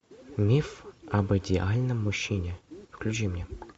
миф об идеальном мужчине включи мне